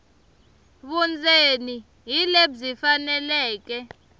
vundzeni hi lebyi faneleke